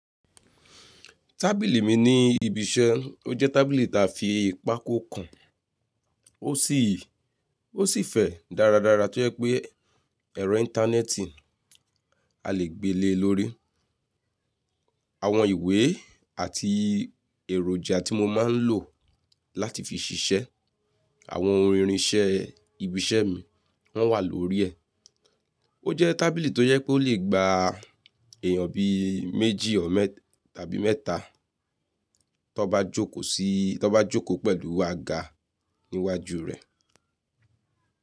Tábìlì mi ní ibi iṣẹ́, ó jẹ́ tábìlì ta fi pákó kàn. Ó sì, ó sì fẹ̀ dáradára tó yẹ́ pé ẹ̀rọ íńtánẹ́ẹ̀tì a lè gbé le lórí. Àwọn ìwé àti èròjà tí mo máa ń lò láti fi ṣiṣẹ́, àwọn ohun ìrinṣẹ́ ibi iṣẹ́ mi wọ́n wà lórí ẹ̀. Ó jẹ́ tábìlì tó jẹ pe ó lè gba èèyàn bí méjì tàbí mẹ́ta tó bá jókòó sí, tó bá jókòó pẹ̀lú àga níwájú rẹ̀.